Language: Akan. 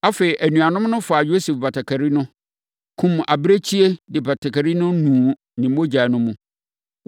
Afei, anuanom no faa Yosef batakari no, kumm abirekyie, de batakari no nuu ne mogya no mu.